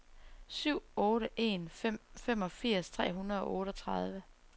syv otte en fem femogfirs tre hundrede og otteogtredive